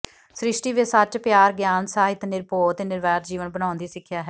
ਸ੍ਰਿਸ਼ਟੀ ਵਿਚ ਸਚ ਪਿਆਰ ਗਿਆਨ ਸਾਹਿਤ ਨਿਰਭਓ ਤੇ ਨਿਰਵੈਰ ਜੀਵਨ ਬਣਾਉਣ ਦੀ ਸਿਖਿਆ ਹੈ